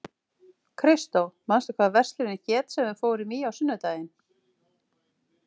Kristó, manstu hvað verslunin hét sem við fórum í á sunnudaginn?